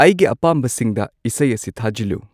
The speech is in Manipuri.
ꯑꯩꯒꯤ ꯑꯄꯥꯝꯕꯁꯤꯡꯗ ꯏꯁꯩ ꯑꯁꯤ ꯊꯥꯖꯤꯜꯂꯨ